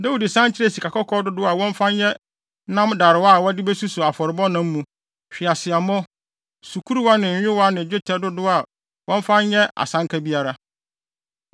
Dawid san kyerɛɛ sikakɔkɔɔ dodow a wɔmfa nyɛ nam darewa a wɔde besuso afɔrebɔ nam mu, hweaseammɔ, sukuruwa ne nyowa ne dwetɛ dodow a wɔmfa nyɛ asanka biara.